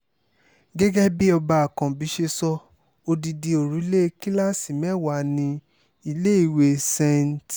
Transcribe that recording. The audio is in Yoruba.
gẹ́gẹ́ bí ọba ákànbí ṣe sọ odidi òrùlé kíláàsì mẹ́wàá ní iléèwé st